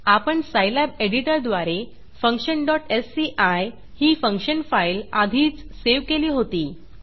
आपण सायलॅब एडिटरद्वारे functionएससीआय ही फंक्शन फाईल आधीच सेव्ह केली होती